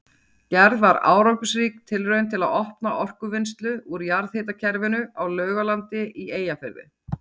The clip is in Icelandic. Gerð var árangursrík tilraun til að auka orkuvinnslu úr jarðhitakerfinu á Laugalandi í Eyjafirði.